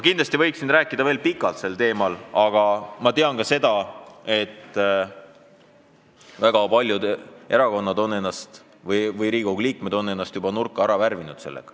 Ma võiksin sel teemal veel pikalt rääkida, aga ma tean, et mitu erakonda ja paljud Riigikogu liikmed on ennast juba nurka ära värvinud.